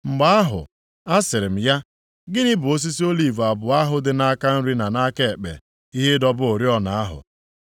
Mgbe ahụ, a sịrị m ya, “Gịnị bụ osisi oliv abụọ ahụ dị nʼaka nri na nʼaka ekpe ihe ịdọba oriọna ahụ?”